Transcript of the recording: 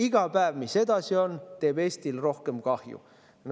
Iga päev, mis see edasi on, teeb Eestile rohkem kahju.